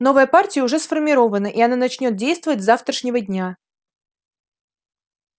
новая партия уже сформирована и она начнёт действовать с завтрашнего дня